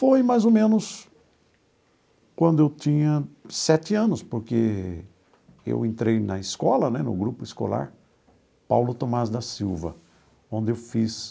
Foi mais ou menos quando eu tinha sete anos, porque eu entrei na escola né, no grupo escolar, Paulo Thomaz da Silva, onde eu fiz